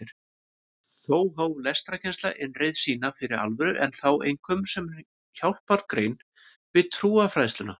Þá hóf lestrarkennsla innreið sína fyrir alvöru en þá einkum sem hjálpargrein við trúfræðsluna.